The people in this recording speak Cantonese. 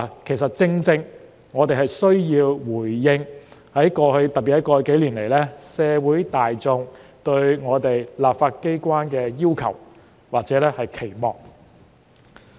其實，正正因為我們需要回應——特別是在過去數年——社會大眾對立法機關的要求或期望。